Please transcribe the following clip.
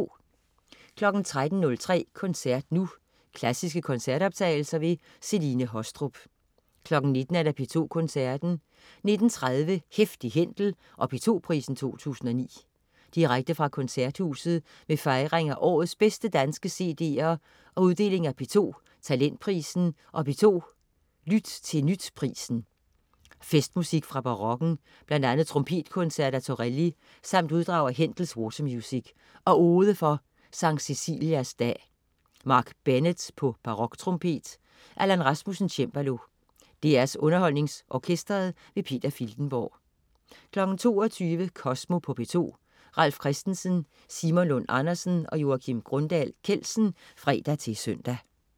13.03 Koncert nu. Klassiske koncertoptagelser. Celine Haastrup 19.00 P2 Koncerten. 19.30 Heftig Händel og P2 Prisen 2009. Direkte fra Koncerthuset med fejring af årets bedste danske cd'er og uddeling af P2 Talentprisen og P2 Lyt til Nyt Prisen. Festmusik fra barokken. Bl.a. trompetkoncert af Torelli samt uddrag af Händels Watermusik og Ode for Skt. Cecilias dag. Mark Bennett: baroktrompet. Allan Rasmussen: cembalo. DR UnderholdningsOrkestret. Peter Filtenborg 22.00 Kosmo på P2. Ralf Christensen, Simon Lund Andersen og Joakim Grundahl Kjeldsen (fre-søn)